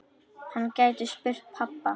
Hann gæti spurt pabba.